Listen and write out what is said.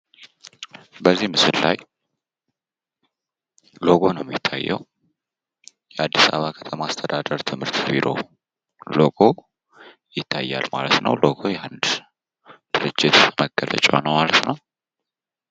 በዚህ ምስል ላይ ሎጎ ነው የሚታየው። የአዲስ አበባ ከተማ አስተዳደር ትምህርት ቢሮ ሎጎ ይታያል ማለት ነው። ሎጎ የአንድ ድርጅት መገለጫ ነው ማለት ነው።